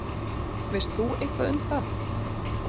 Veist þú eitthvað um það?